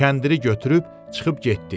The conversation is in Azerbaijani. Kəndiri götürüb çıxıb getdi.